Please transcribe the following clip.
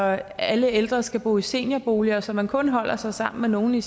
at alle ældre skal bo i seniorboliger så man kun holder sig sammen med nogle i